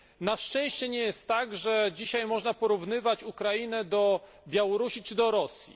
Na szczęście nie jest tak, że dzisiaj można porównywać Ukrainę do Białorusi czy do Rosji.